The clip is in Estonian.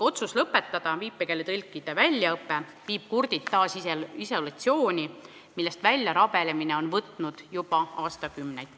Otsus lõpetada viipekeeletõlkide väljaõpe viib kurdid inimesed taas isolatsiooni, millest väljarabelemine on võtnud juba aastakümneid.